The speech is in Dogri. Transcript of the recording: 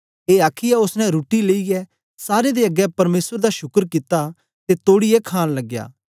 ए आखीयै ओसने रुट्टी लेईयै सारें दे अगें परमेसर दा शुकर कित्ता ते तोड़ीयै खाण लगया